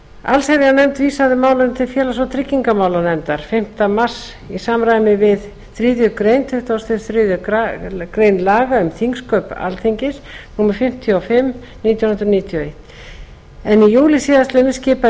allsherjarnefnd vísaði málinu til félags og tryggingamálanefndar fimmta mars í samræmi við þriðju málsgrein tuttugustu og þriðju grein laga um þingsköp alþingis númer fimmtíu og fimm nítján hundruð níutíu og eitt í júlí síðasliðinn skipaði